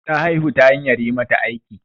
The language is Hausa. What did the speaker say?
Ta haihu ta hanyar yi mata aiki.